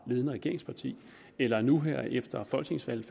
ledende regeringsparti eller nu her efter folketingsvalget